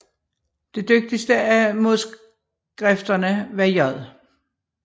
Det dygtigste af modskrifterne var J